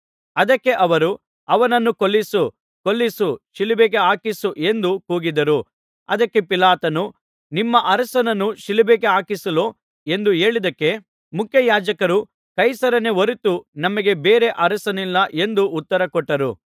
ಅದಕ್ಕೆ ಅವರು ಅವನನ್ನು ಕೊಲ್ಲಿಸು ಕೊಲ್ಲಿಸು ಶಿಲುಬೆಗೆ ಹಾಕಿಸು ಎಂದು ಕೂಗಿದರು ಅದಕ್ಕೆ ಪಿಲಾತನು ನಿಮ್ಮ ಅರಸನನ್ನು ಶಿಲುಬೆಗೆ ಹಾಕಿಸಲೋ ಎಂದು ಹೇಳಿದಕ್ಕೆ ಮುಖ್ಯಯಾಜಕರು ಕೈಸರನೇ ಹೊರತು ನಮಗೆ ಬೇರೆ ಅರಸನಿಲ್ಲ ಎಂದು ಉತ್ತರ ಕೊಟ್ಟರು